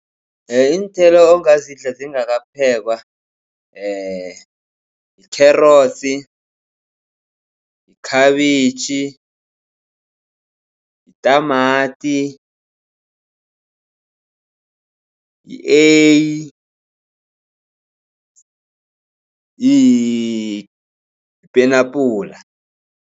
Iinthelo ongazidla zingakaphekwa yikherotsi, yikhabitjhi, yitamati, yi-eyi, yipenabhula.